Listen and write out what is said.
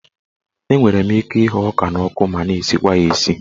Enwere ike ịhụ ọka n'ọkụ ma na-esikwa ya esi.